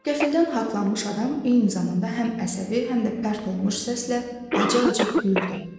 Qəfildən haqlanmış adam eyni zamanda həm əsəbi, həm də pərt olmuş səslə acı-acı güldü.